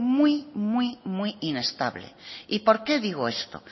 muy muy muy inestable y por qué digo esto